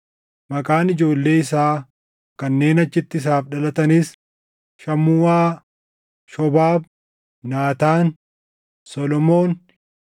Maqaan ijoollee isaa kanneen achitti isaaf dhalataniis Shamuuʼaa, Shobaab, Naataan, Solomoon,